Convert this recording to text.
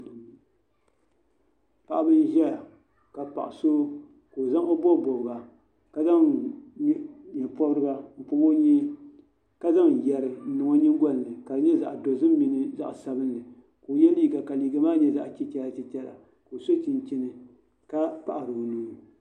Paɣib n zɛya ka paɣisɔ ka o bi bɔbi bɔbiga kzaŋ nyɛ pobriga n pɔb onyee kazaŋyeri n nin o nyingoli ni kadinyɛ zaɣ' dozim mini zaɣ' sabinli ka oye liiga ka liiga maa nyɛ zaɣchichara ka oso chinchini ka paɣiri mŋana